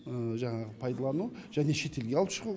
жаңағы пайдалану және шетелге алып шығу